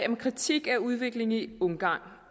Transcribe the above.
om kritik af udviklingen i ungarn